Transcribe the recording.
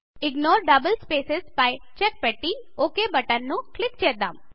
ignore double spaces పై check పెట్టి OK button పై క్లిక్ చేద్దాం